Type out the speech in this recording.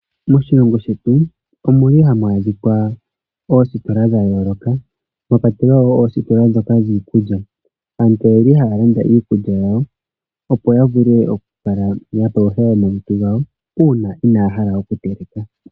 Moshilongo shetu ohamu adhika oositola dha yooloka mwa kwatelwa wo oositola ndhoka dhiikulya. Aantu oye li haya landa iikulya yawo, opo ya vule okukala ya palutha omalutu gawo uuna inaya hala okuteleka.